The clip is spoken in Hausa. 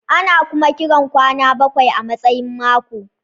Ana kuma kiran kwana bakwai a matsayin mako.